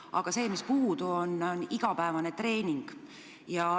Aga puudu on igapäevane treening.